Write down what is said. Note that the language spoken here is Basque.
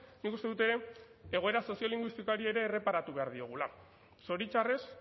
nik uste dut ere egoera soziolinguistikoari ere erreparatu behar diogula zoritxarrez